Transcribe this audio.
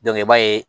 i b'a ye